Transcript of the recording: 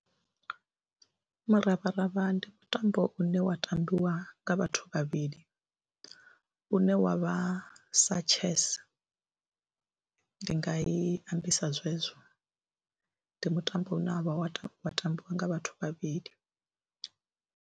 Muravharavha ndi mutambo une wa tambiwa nga vhathu vhavhili une wa vha sa chess, ndi nga i ambisa zwezwo, ndi mutambo une wa vha wa tambiwa nga vhathu vhavhili.